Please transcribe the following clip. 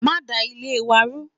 Ma da Ilé wa rú